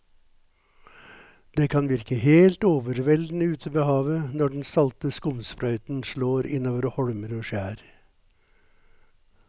Det kan virke helt overveldende ute ved havet når den salte skumsprøyten slår innover holmer og skjær.